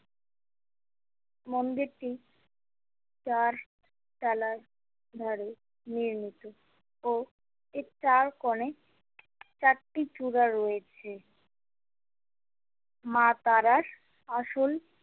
মন্দিরটি চার ধারে নির্মিত ও এই চারকোনে চারটি চূড়া রয়েছে মা তারার আসল।